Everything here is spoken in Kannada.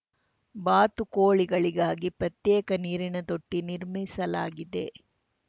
ಬಾತುಕೋಳಿಗಳಿಗಾಗಿ ಪ್ರತ್ಯೇಕ ನೀರಿನ ತೊಟ್ಟಿನಿರ್ಮಿಸಲಾಗಿದೆ